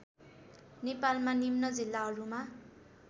नेपालमा निम्न जिल्लाहरूमा